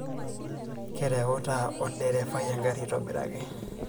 Kereuta olgerefai engari aitobiraki.